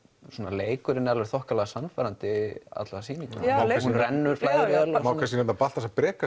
leikurinn er alveg þokkalega sannfærandi alla sýninguna hún rennur vel Baltasar Breki á